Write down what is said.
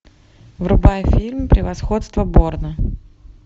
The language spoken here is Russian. врубай фильм превосходство борна